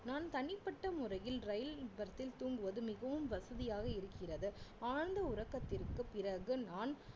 நான் தனிப்பட்ட முறையில் ரயில் berth தில் தூங்குவது மிகவும் வசதியாக இருக்கிறது ஆழ்ந்த உறக்கத்திற்கு பிறகு நான்